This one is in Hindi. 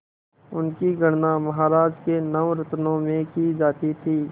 उनकी गणना महाराज के नवरत्नों में की जाती थी